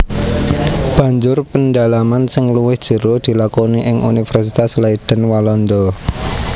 Banjur pendalaman sing luwih jero dilakoni ing Universitas Leiden Walanda